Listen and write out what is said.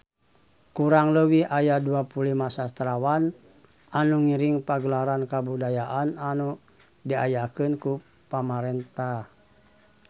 Kurang leuwih aya 25 sastrawan anu ngiring Pagelaran Kabudayaan anu diayakeun ku pamarentah